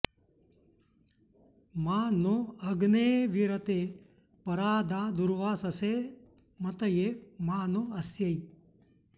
मा नो॑ अग्ने॒ऽवीर॑ते॒ परा॑ दा दु॒र्वास॒सेऽम॑तये॒ मा नो॑ अ॒स्यै